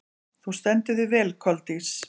Þú stendur þig vel, Koldís!